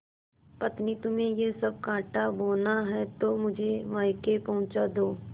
पत्नीतुम्हें यह सब कॉँटा बोना है तो मुझे मायके पहुँचा दो